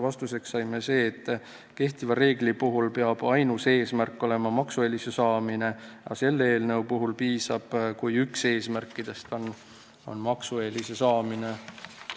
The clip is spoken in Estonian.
Vastuseks saime, et kehtiva reegli puhul peab ainus eesmärk olema maksueelise saamine, aga selle eelnõu puhul piisab, kui üks eesmärkidest on maksueelise saamine.